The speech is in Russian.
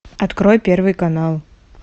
открой первый канал